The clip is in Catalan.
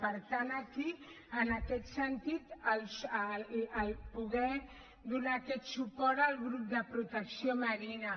per tant aquí en aquest sentit poder donar aquest suport al grup de protecció marina